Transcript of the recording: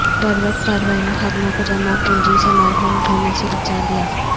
بروقت کارروائی نے خادمہ کو جمع پونجی سے محروم ہونے سے بچالیا